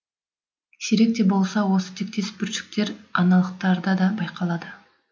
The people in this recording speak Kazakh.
сирек те болса осы тектес бүршіктер аналықтарда да байқалады